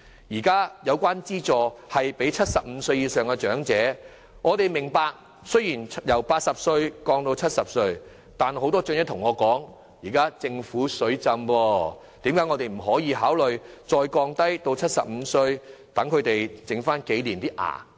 現時有關資助是提供予75歲以上的長者，但很多長者告訴我，既然庫房現時"水浸"，為何不能考慮將資助年齡進一步降低，讓他們在剩餘的年月有一副好一點的牙